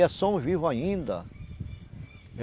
E é só um vivo ainda.